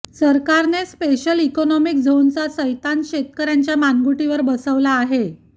सरकारने special economic झोनचा सैतान शेतकऱ्यांच्या मानगुटीवर बसवला आहे